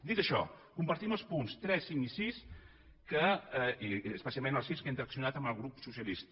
dit això compartim els punts tres cinc i sis i especialment el sis que hem transaccionat amb el grup socialista